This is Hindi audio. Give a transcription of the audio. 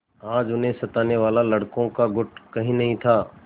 आज उन्हें सताने वाला लड़कों का गुट कहीं नहीं था